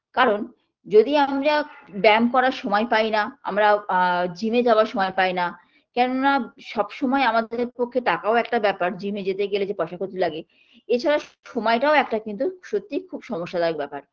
কারণ যদি আমরা ব্যায়াম করার সময় পাইনা আমরা আ gym -এ যাওয়ারও সময় পাইনা কেননা সব সময় আমাদের পক্ষে টাকাও একটা ব্যাপার gym -এ যেতে গেলে যে পয়সা পাতি লাগে এছাড়া সময়টাও একটা কিন্তু সত্যিই সমস্যাদায়ক ব্যাপার